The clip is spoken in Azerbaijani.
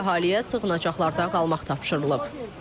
Mülki əhaliyə sığınacaqlarda qalmaq tapşırılıb.